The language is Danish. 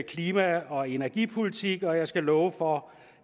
klima og energipolitik og jeg skal love for